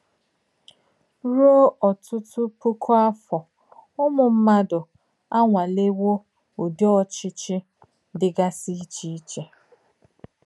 Rùò òtútù pùkù áfọ̀, Ùmù mmádụ̀ ànwàlèwò ùdí ọ̀chị́chị́ dì gàsì íchè íchè.